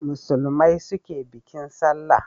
Musulmai su ke bikin sallah